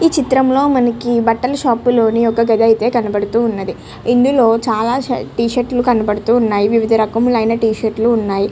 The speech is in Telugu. ఈ చిత్రం లో మనకి బట్టల షాప్ కనిపిస్తున్నది ఇందులో చాల టిషిర్టీలు కనపడుతున్నాయి వివిధ రకమైన టి షిర్టీలు కనపడుతున్నాయి --